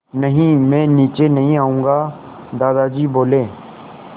नहीं मैं नीचे नहीं आऊँगा दादाजी बोले